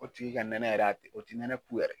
O tigi ka nɛnɛ yɛrɛ, o tɛ nɛnɛ ku yɛrɛ!